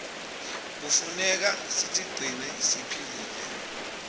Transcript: knefuneka sitigcine siphilile